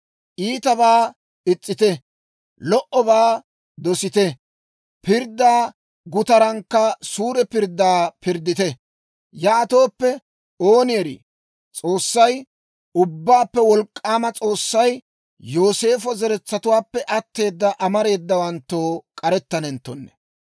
Iitabaa is's'ite. Lo"obaa dosite. Pirddaa gutarankka suure pirddaa pirddite. Yaatooppe, ooni erii, S'oossay, Ubbaappe Wolk'k'aama S'oossay Yooseefo zeretsatuwaappe atteeda amareedawanttoo k'arettanenttonne.